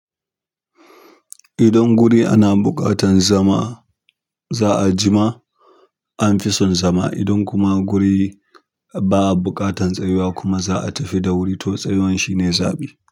Idan gurin ana buƙatar zama za'a jima anfi son zama. Idan kuma guri ba bukatan tsayuwa kuma za a tafi da wuri to tsayuwan shi ne zaɓi.